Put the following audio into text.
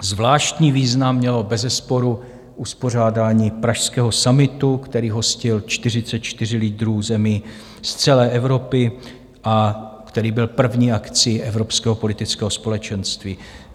Zvláštní význam mělo bezesporu uspořádání pražského summitu, který hostil 44 lídrů zemí z celé Evropy a který byl první akcí evropského politického společenství.